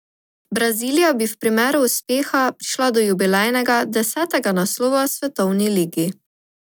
Brazilija bi v primeru uspeha prišla do jubilejnega desetega naslova svetovni ligi.